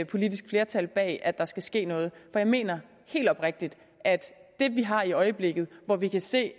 politisk flertal bag at der skal ske noget for jeg mener helt oprigtigt at det vi har i øjeblikket hvor vi kan se